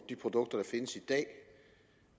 de produkter der findes i dag